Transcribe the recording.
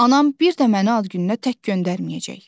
Anam bir də məni ad gününə tək göndərməyəcək.